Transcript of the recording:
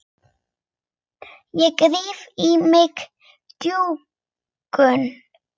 Ég ríf í mig bjúgun.